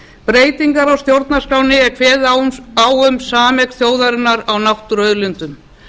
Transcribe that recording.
breytingar á stjórnarskránni er kveði á um sameign þjóðarinnar á náttúruauðlindum